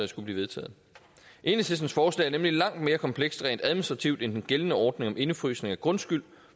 skulle blive vedtaget enhedslistens forslag er nemlig langt mere komplekst rent administrativt end den gældende ordning om indefrysning af grundskyld